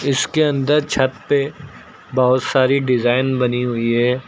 इसके अंदर छत पे बहुत सारी डिजाइन बनी हुई है।